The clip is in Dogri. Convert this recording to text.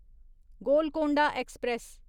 गोलकोंडा ऐक्सप्रैस